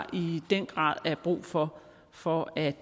i den grad er brug for for at